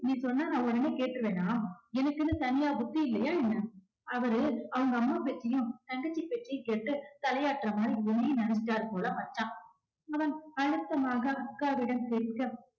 நீ சொன்னா நான் உடனே கேட்டுருவேனா எனக்குன்னு தனியா புத்தி இல்லையா என்ன அவரு அவங்க அம்மா பேச்சையும் தங்கச்சி பேச்சையும் கேட்டு தலையாட்டுற மாதிரி உன்னையும் நினைச்சுட்டாரு போல மச்சான் அவன் அழுத்தமாக அக்காவிடம் கேட்க